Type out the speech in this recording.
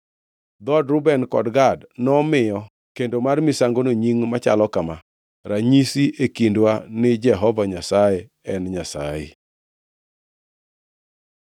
Dhood Reuben kod Gad nomiyo kendo mar misangono nying machalo kama: Ranyisi e Kindwa ni Jehova Nyasaye en Nyasaye.